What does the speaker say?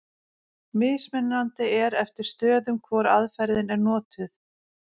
Mismunandi er eftir stöðum hvor aðferðin er notuð.